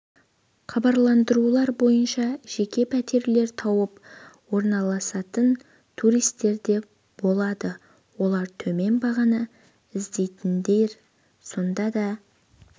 хабарландырулар бойынша жеке пәтерлер тауып орналасатын туристер де болады олар төмен бағаны іздейтіндер сонда да